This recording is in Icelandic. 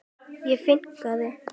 og finkan?